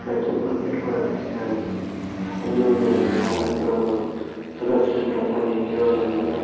ఇక్కడ చెప్పులు పెట్టుకోడానికి స్టాండ్స్ అన్ని ఉన్నాయి అన్న మాట అది కూడా మనం చూడచ్చు ఇక్కడ అంత నీట్ గా ఉంది అన్నమాట.